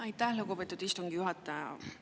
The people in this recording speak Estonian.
Aitäh, lugupeetud istungi juhataja!